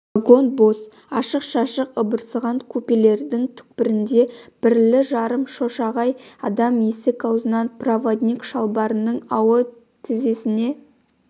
вагон бос ашық-шашық ыбырсыған купелердің түкпірінде бірлі-жарым шошайған адам есік аузынан проводник шалбарының ауы тізесіне